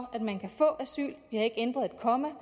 få asyl vi har ikke ændret et komma